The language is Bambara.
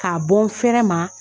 K'a bɔ n fɛrɛ ma.